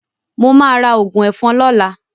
Mo máa ra òògùn ẹ̀fọn lọ́la.